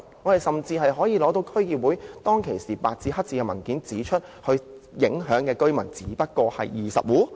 我們甚至可以拿出當時的區議會文件，是白紙黑字指出受影響居民只有20戶。